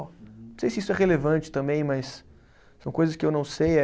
Não sei se isso é relevante também, mas são coisas que eu não sei. Eh